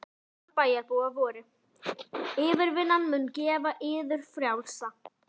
Einkunnarorð bæjarbúa voru: yfirvinnan mun gera yður frjálsa.